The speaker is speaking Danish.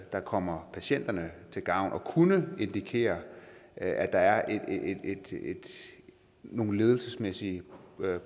der kommer patienterne til gavn og det kunne indikere at der er nogle ledelsesmæssige